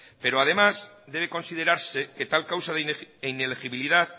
pero además debe considerarse que tal causa de inelegibilidad